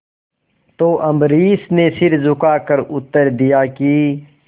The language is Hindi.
तो अम्बरीश ने सिर झुकाकर उत्तर दिया कि